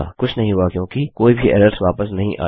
कुछ नहीं हुआ क्योंकि कोई भी एरर्स वापस नहीं आयी